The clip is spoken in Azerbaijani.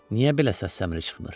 Niyə belə səs-səmiri çıxmır?